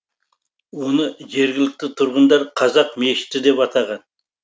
оны жергілікті тұрғындар қазақ мешіті деп атаған